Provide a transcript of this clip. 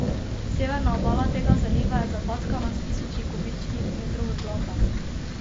Severna obala tega zaliva je zapackana s tisoči kubičnih metrov blata.